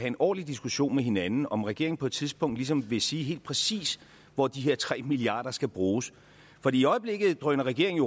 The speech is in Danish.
en ordentlig diskussion med hinanden om regeringen på et tidspunkt ligesom ville sige helt præcist hvor de her tre milliard skal bruges for i øjeblikket drøner regeringen